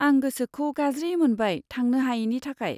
आं गोसोखौ गाज्रि मोनबाय थांनो हायिनि थाखाय।